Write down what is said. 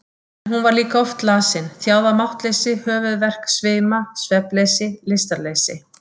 En hún var líka oft lasin, þjáð af máttleysi, höfuðverk, svima, svefnleysi, lystarleysi.